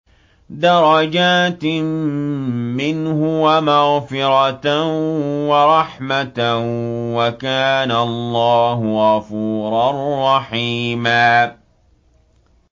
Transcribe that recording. دَرَجَاتٍ مِّنْهُ وَمَغْفِرَةً وَرَحْمَةً ۚ وَكَانَ اللَّهُ غَفُورًا رَّحِيمًا